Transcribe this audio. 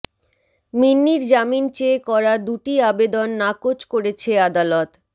মিন্নির জামিন চেয়ে করা দুটি আবেদন নাকচ করেছে আদালত